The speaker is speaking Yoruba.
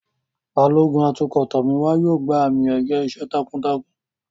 Balógun atukọ̀ Tomiwa yóò gba àmì-ẹ̀yẹ iṣẹ́ takuntakun.